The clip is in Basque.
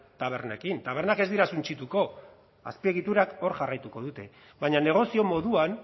tabernekin tabernak ez dira suntsituko azpiegiturak hor jarraituko dute baina negozio moduan